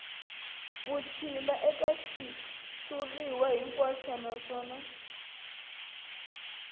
vutshila eka xitshuriwa hinkwaxo naswona